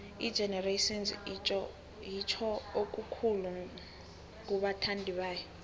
igenerations itjho okukhulu kubathandibayo